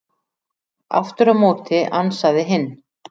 Aftur á móti ansaði hinn: